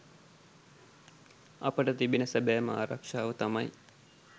අපට තිබෙන සැබෑම ආරක්ෂාව තමයි